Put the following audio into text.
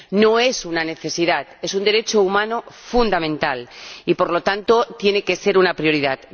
No es una necesidad es un derecho humano fundamental y, por lo tanto, tiene que ser una prioridad.